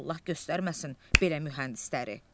Allah göstərməsin belə mühəndisləri.